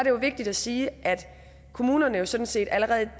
jo vigtigt at sige at kommunerne jo sådan set allerede